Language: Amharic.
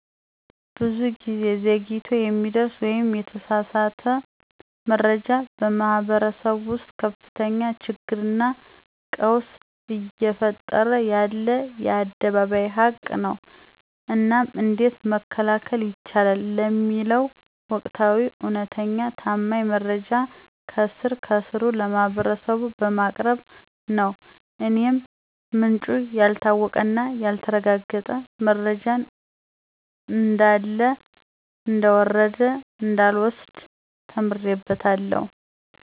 ብዙ ጊዜ ዘግይቶ የሚደረስ ወይም የተሳሳተ መረጃ በማህበረሰቡ ውስጥ ከፍተኛ ችግርና ቀውስ እየፈጠረ ያለ የአደባባይ ሀቅ ነው። እናም እንዴት መከላከል ይቻላል ለሚለው ወቅታዊ፣ እውነተኛና ታማኝ መረጃ ከስር ከስሩ ለማህበረሰቡ በማቅረብ ነው። እኔም ምንጩ ያልታወቀና ያልተረጋገጠ መረጃን እንዳለ እንደወረደ እንዳልወስድ ተምሬበታለሁ።